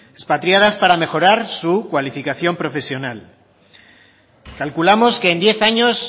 expatriadas para mejorar su cualificación profesional calculamos que en diez años